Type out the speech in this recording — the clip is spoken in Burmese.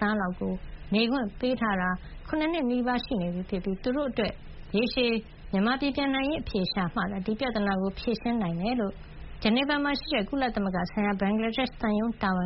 သန်းလောက်ကို နေခွင့်ပေးထားတာ ၇ နှစ် နီးပါးရှိနေပြီဖြစ်ပြီး သူတို့အတွက် ရေရှည် မြန်မာပြည်ပြန်နေနိုင်ရေး အဖြေရှာမှသာ ဒီပြဿနာကို ဖြေရှင်းနိုင်မှာ ဖြစ်ကြောင်း ဂျနီဗာမှာရှိတဲ့ ကုလသမဂ္ဂဆိုင်ရာ ဘင်္ဂလားဒေ့ရှ်သံရုံးတာဝန်